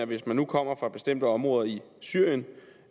hvis man kommer fra bestemte områder i syrien